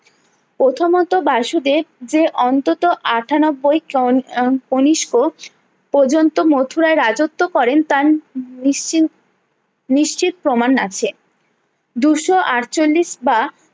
প্রথমত বাসুদেব যে অন্তত আটানব্বই ট্রন উম কনিস্ক পর্যন্ত মুথুরা রাজ্যত্ব করেন তার নিচ্চিত নিচ্চিত প্রমাণ আছে দুশো আটচল্লিশ বা